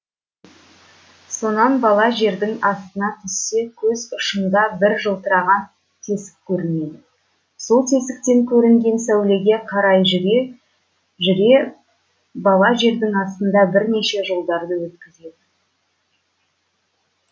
сонан бала жердің астына түссе көз ұшында бір жылтыраған тесік көрінеді сол тесіктен көрінген сәулеге қарай жүре жүре бала жердің астында бірнеше жылдарды өткізеді